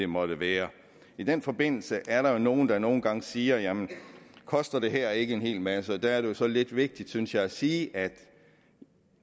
måtte være i den forbindelse er der jo nogle der nogle gange siger at jamen koster det her ikke en hel masse der er det jo så lidt vigtigt synes jeg at sige at